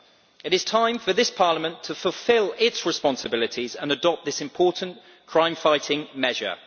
It is time for this Parliament to fulfil its responsibilities and adopt this important crime fighting measure.